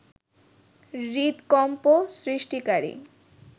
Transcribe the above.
হৃদকম্প সৃষ্টিকারী